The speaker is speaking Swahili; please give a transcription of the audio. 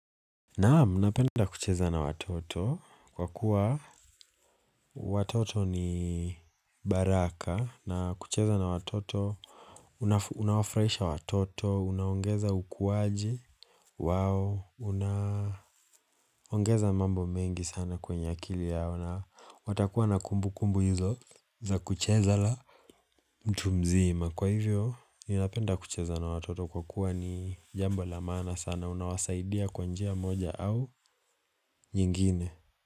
Naam, napenda kucheza na watoto kwa kuwa watoto ni baraka na kucheza na watoto, unawafurahisha watoto, unaongeza ukuwaji, wao, unaongeza mambo mengi sana kwenye akili yao na watakuwa na kumbu kumbu hizo za kucheza na mtu mzima. Kwa hivyo, ninapenda kucheza na watoto kwa kuwa ni jambo la maana sana, unawasaidia kwa njia moja au nyingine.